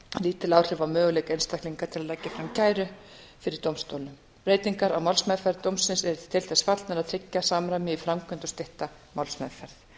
lítil áhrif á möguleika einstaklinga til að leggja fram kæru fyrir dómstólnum breytingar á málsmeðferð dómsins eru til þess fallnar að tryggja samræmi í framkvæmd og stytta málsmeðferð